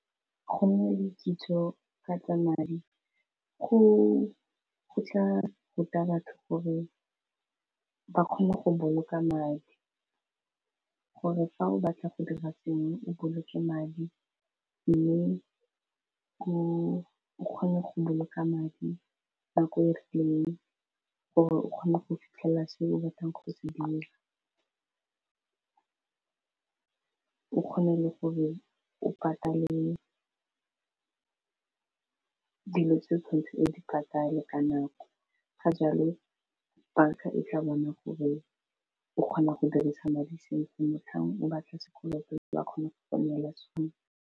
Go nna le kitso ka tsa madi go tla ruta batho gore ba kgone go boloka madi gore fa o batla go dira sengwe o boloke madi, mme o kgone go boloka madi nako e rileng gore o kgone go fitlhelela se o batlang go se dira o kgone le go o patale ke dilo tse tshwanetse e di patale ka nako ka jalo banka e tla bona gore o kgona go dirisa madi sentle motlhang o batla sekolo ge ba kgone go go nela sone.